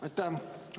Aitäh!